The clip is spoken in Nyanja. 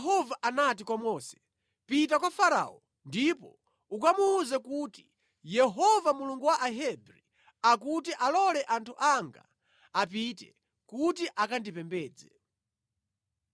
Kenaka Yehova anati kwa Mose, “Pita kwa Farao ndipo ukamuwuze kuti Yehova, Mulungu wa Ahebri akuti alole anthu anga apite kuti akandipembedze.